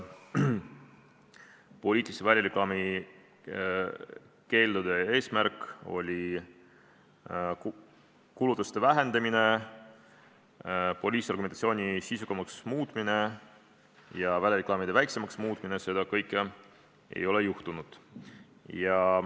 Poliitilise välireklaami keeldude eesmärk oli kulutuste vähendamine, poliitargumentatsiooni sisukamaks muutmine ja välireklaamide väiksemaks muutmine – seda kõike ei ole juhtunud.